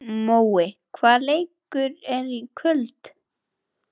Mói, hvaða leikir eru í kvöld?